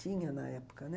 Tinha na época, né?